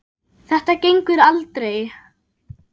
Þetta gengur aldrei.